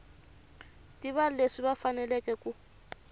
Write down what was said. tiva leswi va faneleke ku